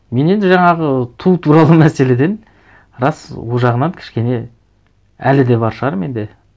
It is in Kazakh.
мен енді жаңағы ту туралы мәселеден рас ол жағынан кішкене әлі де бар шығар менде